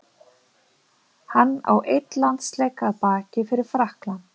Hann á einn landsleik að baki fyrir Frakkland.